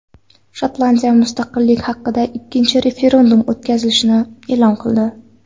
Shotlandiya mustaqillik haqidagi ikkinchi referendum o‘tkazilishini e’lon qildi .